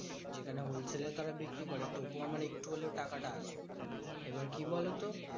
যেখানে wholesale এ তারা বিক্রি করে। তবুও আমার একটু হলেও টাকাটা আসবে, এবার কি বলতো?